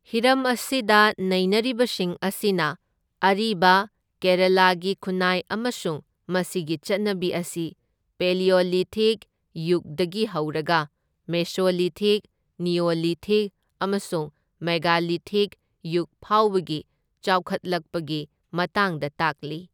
ꯍꯤꯔꯝ ꯑꯁꯤꯗ ꯅꯩꯅꯔꯤꯕꯁꯤꯡ ꯑꯁꯤꯅ ꯑꯔꯤꯕ ꯀꯦꯔꯥꯂꯥꯒꯤ ꯈꯨꯟꯅꯥꯏ ꯑꯃꯁꯨꯡ ꯃꯁꯤꯒꯤ ꯆꯠꯅꯕꯤ ꯑꯁꯤ ꯄꯦꯂꯤꯑꯣꯂꯤꯊꯤꯛ ꯌꯨꯒꯗꯒꯤ ꯍꯧꯔꯒ ꯃꯦꯁꯣꯂꯤꯊꯤꯛ, ꯅꯤꯑꯣꯂꯤꯊꯤꯛ ꯑꯃꯁꯨꯡ ꯃꯦꯒꯂꯤꯊꯤꯛ ꯌꯨꯒ ꯐꯥꯎꯕꯒꯤ ꯆꯥꯎꯈꯠꯂꯛꯄꯒꯤ ꯃꯇꯥꯡꯗ ꯇꯥꯛꯂꯤ꯫